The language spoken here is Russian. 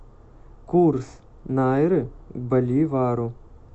курс найры к боливару